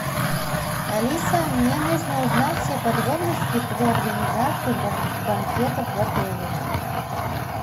алиса мне нужно узнать все подробности про организацию банкетов в отеле